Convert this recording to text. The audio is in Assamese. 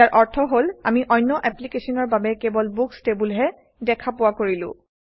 ইয়াৰ অৰ্থ হল আমি অন্য এপ্লিকেশ্যনৰ বাবে কেৱল বুকচ্ টেবুলহে দেখা পোৱা কৰিলো